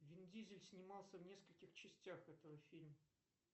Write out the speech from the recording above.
вин дизель снимался в нескольких частях этого фильма